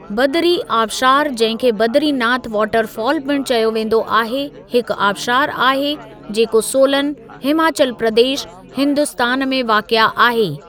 बदरी आबशारु जंहिं खे बदरी नाथ वाटर फ़ाल पिण चयो वेंदो आहे, हिक आबशारु आहे जेको सोलन, हिमाचल प्रदेश, हिन्दुस्तान में वाक़िआ आहे।